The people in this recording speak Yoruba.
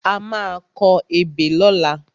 A má a kọ ebè lọ́la.